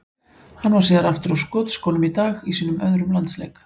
Hann var síðan aftur á skotskónum í dag í sínum öðrum landsleik.